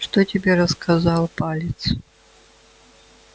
что тебе рассказал палец